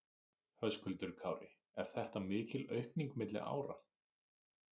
Höskuldur Kári: Er þetta mikil aukning milli ára?